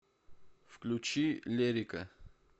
включи лерика